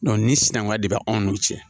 ni sinankunya de bɛ anw n'u cɛ